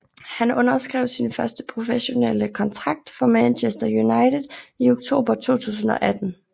Han underskrev sin første professionelle kontrakt for Manchester United i oktober 2018